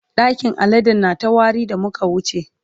ɗakin aladen na ta wari da muka wuce.